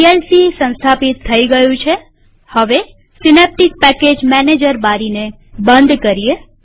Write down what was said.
VLC સંસ્થાપિત થઇ ગયું છેહવે સીનેપ્ટીક પેકેજ મેનેજર બારીને બંધ કરીએ